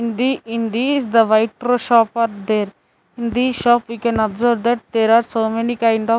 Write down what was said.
In in these the shop are there in these shop we can observe that there are so many kind of --